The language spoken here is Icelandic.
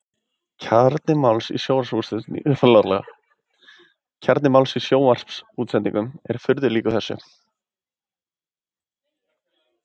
Kjarni máls í sjónvarpssendingum er furðu líkur þessu.